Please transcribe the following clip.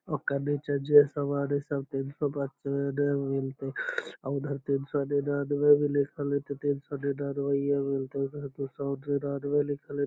ओकर नीचे जे सामान सब हेय तीन सौ ने मिलते उधर ते तीन सौ निन्यानवे भी लिखल हेय ते तीन सौ निन्यानवे मे मिलते उधर दू सौ निन्यानवे लिखल हेय।